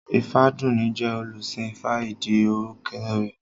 Ifádùúní jẹ́ olùsìn ifá ìdí orúkọ rẹ̀